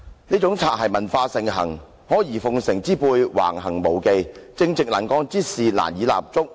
於是擦鞋文化盛行，阿諛奉承之輩橫行無忌，正直能幹之士難以立足。